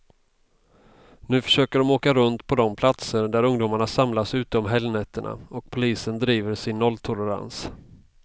Nu försöker de åka runt på de platser där ungdomarna samlas ute om helgnätterna, och polisen driver sin nolltolerans.